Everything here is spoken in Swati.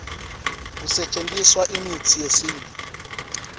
kusetjentiswa imitsi yesintfu